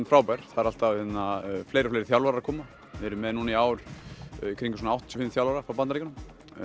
frábær það eru alltaf fleiri og fleiri þjálfarar að koma við erum með núna í ár kringum áttatíu og fimm þjálfara frá Bandaríkjunum